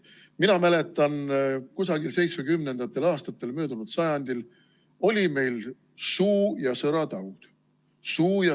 Mina mäletan, kusagil seitsmekümnendatel aastatel möödunud sajandil oli meil suu- ja sõrataud.